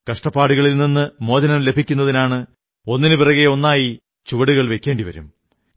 കഷ്ടപ്പാടുകളിൽ നിന്നു മോചനം ലഭിക്കുന്നതിനാണ് ഒന്നിനുപിറകെ ഒന്നായി ചുവടുകൾ വയ്ക്കേണ്ടി വരും